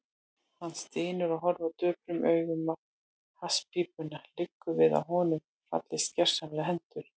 Hann stynur og horfir döprum augum á hasspípuna, liggur við að honum fallist gersamlega hendur.